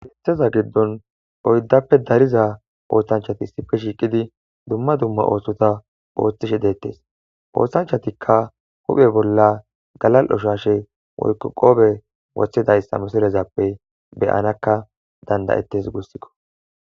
Keththaza giidon oyddappe daariza oththanchati issippe shiqqidi dumma dumma oththota oththishe dettes oththanchatika huphphe bolla galalio shashshe woykko qoppe woththidayssa missilepe beanaka danda7tes guusuko